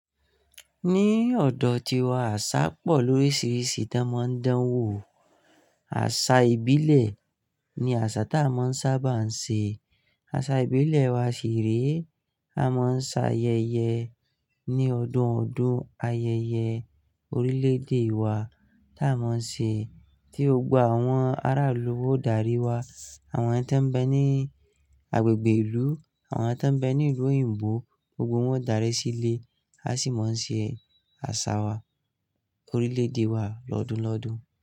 Ní ọ̀dọ̀ tiwa àṣá pọ̀ lóríṣìíríṣìí tan máa ń dán wò. Àṣà ìbílẹ̀ ni àṣà tí a máa ń sábà ń ṣe. Àṣà ìbílẹ̀ wa ṣì re. A máa ń ṣe ayẹyẹ ní ọdún ọdún, ayẹyẹ orílẹ̀-èdè wa tí a máa ń ṣe. Tí gbogbo àwọn aráàlú wa o darí wa, àwọn tan be ní agbègbè ìlú, àwọn tan be ní ìlú òyìnbó, gbogbo wọn o darí sílé, a sì máa ń ṣe àṣà wa orílẹ̀-èdè wa lọ́dún lọ́dún.